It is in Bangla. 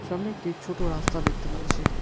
সামনে একটি ছোট রাস্তা দেখতে পাচ্ছি।